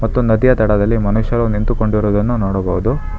ಮತ್ತು ನದಿಯ ದಡದಲ್ಲಿ ಮನುಷ್ಯರು ನಿಂತುಕೊಂಡಿರುದನ್ನು ನೋಡಬಹುದು.